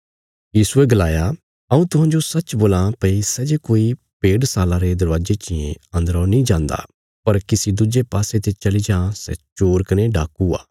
यीशुये गलाया हऊँ तुहांजो सच्च बोलां भई सै जे कोई भेडशाला रे दरवाजे चियें अन्दरौ नीं जान्दा पर किसी दुज्जे पासे ते चली जां सै चोर कने डाकू आ